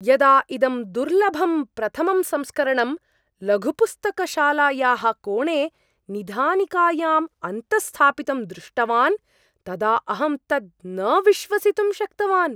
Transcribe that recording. यदा इदं दुर्लभं प्रथमं संस्करणं लघुपुस्तकशालायाः कोणे निधानिकायाम् अन्तःस्थापितं दृष्टवान् तदा अहं तत् न विश्वसितुं शक्तवान्।